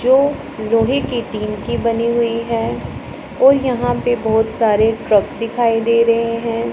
जो लोहे की टीन की बनी हुई है और यहां पे बहुत सारे ट्रक दिखाई दे रहे हैं।